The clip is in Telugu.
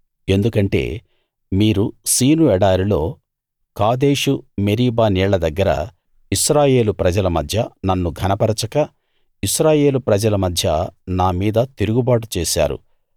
ఎందుకంటే మీరు సీను ఎడారిలో కాదేషు మెరీబా నీళ్ల దగ్గర ఇశ్రాయేలు ప్రజల మధ్య నన్ను ఘనపరచక ఇశ్రాయేలు ప్రజల మధ్య నా మీద తిరుగుబాటు చేశారు